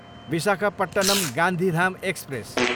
Visakhapatnam, Gandhidham express